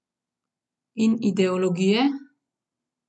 In ideologije?